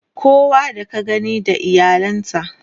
kowa da ka gani da iyalan sa